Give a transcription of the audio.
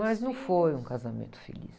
Mas não foi um casamento feliz